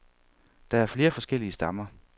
Der er flere forskellige stammer.